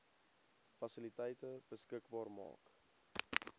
fasiliteite beskikbaar maak